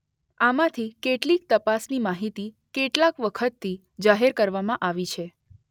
આમાંથી કેટલીક તપાસની માહિતી કેટલાક વખતથી જાહેર કરવામાં આવી છે.